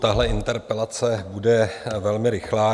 Tahle interpelace bude velmi rychlá.